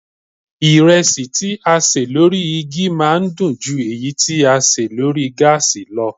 Ìrẹsì tí a ṣè lórí igi máa ń dùn ju èyí tí a ṣe lórí gáàsì lọ